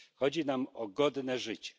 Chodzi nam o godne życie.